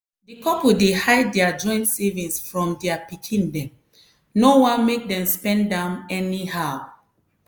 di couple dey hide dia joint savings from dia pikin dem no wan make dem spend am anyhow.